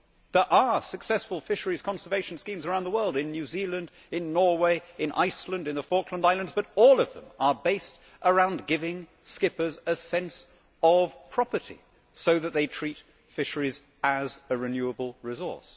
There are successful fisheries' conservation schemes around the world in New Zealand, in Norway, in Iceland, in the Falkland Islands but all of them are based on giving skippers a sense of property so that they treat fisheries as a renewable resource.